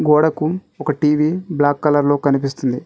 గోడకు ఒక TV black colour లో కనిపిస్తుంది.